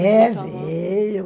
É, veio...